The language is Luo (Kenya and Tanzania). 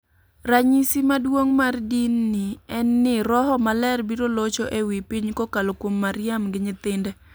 Ranyisi maduong' mar din ni en ni roho maler biro locho e wi piny kokalo kuom Mariam gi nyithinde.